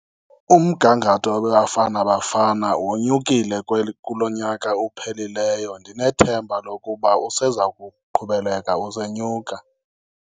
Umgangatho weBafana Bafana wenyukile kulo nyaka ophelileyo, ndinethemba lokuba useza kuqhubeleka usenyuka.